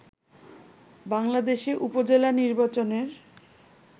বাংলাদেশে উপজেলা নির্বাচনের